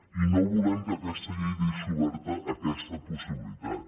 i no volem que aquesta llei deixi oberta aquesta possibilitat